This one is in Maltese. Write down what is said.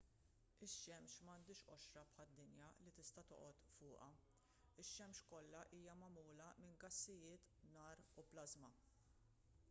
ix-xemx m'għandhiex qoxra bħad-dinja li tista' toqgħod fuqha ix-xemx kollha hija magħmula minn gassijiet nar u plażma